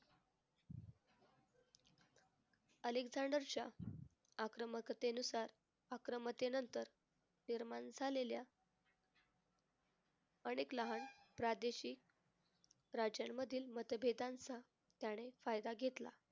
अलेकझांडरच्या आक्रमकतेनुसार आक्रमतेनंतर निर्माण झालेल्या अनेक लहान प्रादेशिक राजांमधील मतभेदांचं त्याने फायदा घेतला.